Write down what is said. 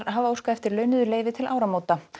hafa óskað eftir launuðu leyfi til áramóta